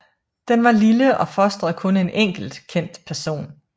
Den var lille og fostrede kun en enkelt kendt person